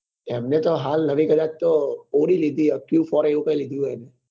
એમને તો હાલ નવી કદાચ તો audi લીધી હે